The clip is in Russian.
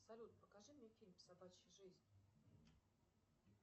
салют покажи мне фильм собачья жизнь